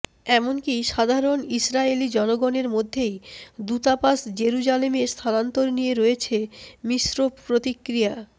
এমনকি সাধারণ ইসরায়েলি জনগণের মধ্যেই দূতাবাস জেরুজালেমে স্থানান্তর নিয়ে রয়েছে মিশ্র প্রতিক্রিয়া